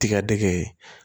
Tigadɛgɛ ye